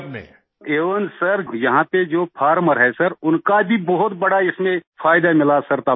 मंजूर जी एवेन सर यहाँ पर जो फार्मर हैं सर उनका भी बहुत बड़ा इसमें फायदा मिला सर तब से